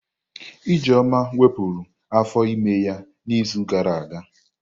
Ijeoma wepụrụ afọ ímé ya n'izu gara aga.